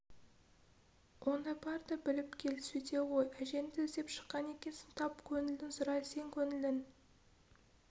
онда бар да біліп кел сөйте ғой әжеңді іздеп шыққан екенсің тап көңілін сұра сен көңілін